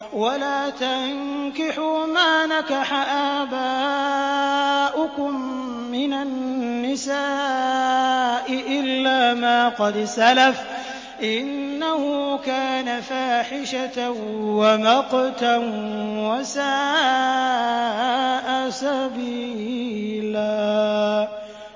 وَلَا تَنكِحُوا مَا نَكَحَ آبَاؤُكُم مِّنَ النِّسَاءِ إِلَّا مَا قَدْ سَلَفَ ۚ إِنَّهُ كَانَ فَاحِشَةً وَمَقْتًا وَسَاءَ سَبِيلًا